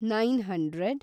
nine hundred